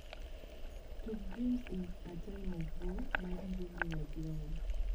tug dreams in atime of war mar ngugi wathiongo